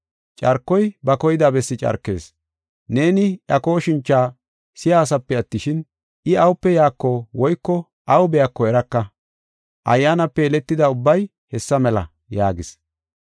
Carkoy ba koyida bessi carkees. Neeni iya kooshincha si7asape attishin, I awupe yaako woyko aw biyako eraka. Ayyaanape yeletida ubbay hessa mela” yaagis.